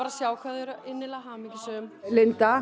að sjá hvað þau eru innilega hamingjusöm